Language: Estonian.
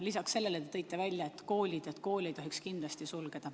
Lisaks sellele te tõite välja koolid, et koole ei tohiks kindlasti sulgeda.